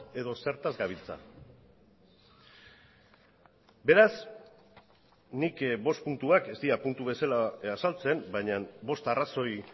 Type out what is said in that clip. edo zertaz gabiltza beraz nik bost puntuak ez dira puntu bezala azaltzen baina bost arrazoi